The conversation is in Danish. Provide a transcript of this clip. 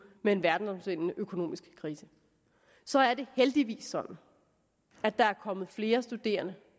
med en verdensomspændende økonomisk krise så er det heldigvis sådan at der er kommet flere studerende